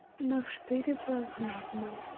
но вставляет вас знатно